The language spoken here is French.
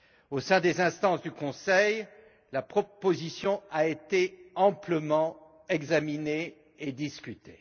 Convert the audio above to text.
Au sein des instances du Conseil, la proposition a été amplement examinée et discutée.